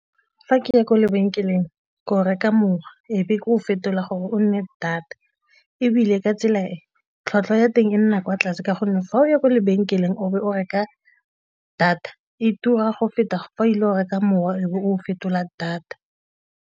Fa ke ya kwa lebenkeleng ke o reka mowa ebe ke o fetola gore o nne data ebile ka tsela e tlhwatlhwa ya teng e nna kwa tlase ka gonne fa o ya kwa lebenkeleng o be o reka data, e tura go feta fa o ile o reka mowa o fetola data.